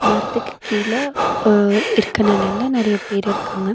மரத்துக்கு கீழ அ இருக்க நெழல்ல நறைய பேர் இருக்காங்க.